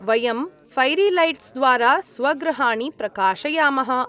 वयं फ़ैरीलैट्स्द्वारा स्वगृहाणि प्रकाशयामः।